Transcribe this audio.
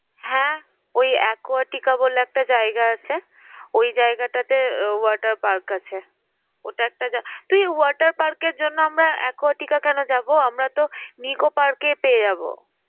হ্যাঁ ওই aquatica বলে একটা জায়গা আছে। ওই জায়গাটাতে আহ water park আছে। ওটা একটা জা~ তুই water park এর জন্য আমরা আমরা aquatica কেন যাবো? আমরা তো nicco park এ পেয়ে যাব।